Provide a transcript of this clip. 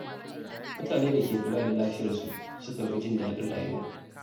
Mutane da ke kula da lafiyarsu sukan fi jin daɗin rayuwa.